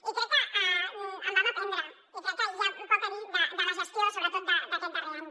i crec que en vam aprendre i crec que hi ha poc a dir de la gestió sobretot d’aquest darrer any